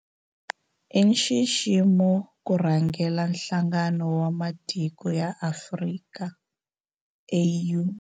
I nxiximo ku rhangela Nhlangano wa Matiko ya Afrika, AU.